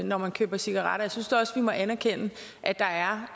når man køber cigaretter jeg synes da også vi må anerkende at der er